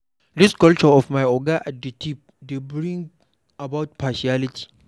This culture of "my oga at di tip" dey bring about partiality